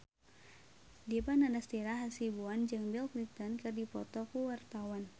Dipa Nandastyra Hasibuan jeung Bill Clinton keur dipoto ku wartawan